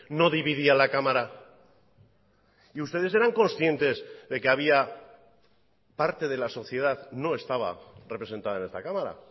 no dividía a la cámara y ustedes eran conscientes de que había parte de la sociedad no estaba representada en esta cámara